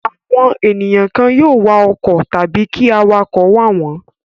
Àwọn ènìyàn kan yóò wa ọkọ̀ wọn tàbí kí awakọ̀ wà wọ̀n ọ́n.